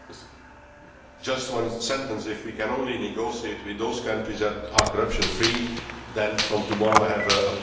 Just one sentence if we can only negotiate with those countries that are corruption free, then from tomorrow I will have a part time job.